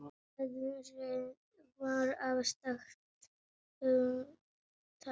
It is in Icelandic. Veðrið var afstætt hugtak.